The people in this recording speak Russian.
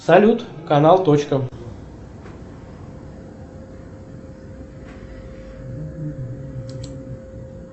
салют канал точка